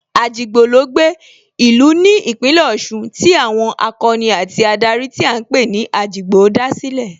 Ajigbo ló gbé, ìlú ní Ìpínlẹ̀ Ọ̀ṣun tí àwọn akọni àti adarí tí à ń pè ní Ajigbo dá sílẹ̀